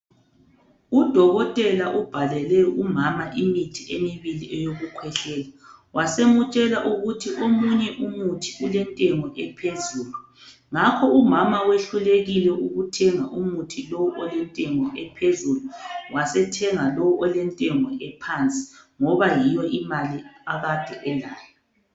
Udokotela ubhalele umama imithi emibili eyokukhwehlela wasemtshela ukuthi omunye umuthi ulentengo ephezulu. Ngakho umama wehlulekile ukuthenga lo olentengo ephezulu, wasethenga lo olentengo ephansi ngoba yiyo imali akade elayo.